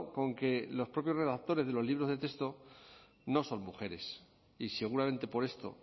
con que los propios redactores de los libros de texto no son mujeres y seguramente por esto